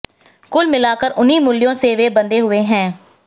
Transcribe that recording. कुल मिलाकर उन्हीं मूल्यों से वे बंधे हुये हैं